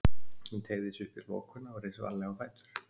Hún teygði sig upp í lokuna og reis varlega á fætur.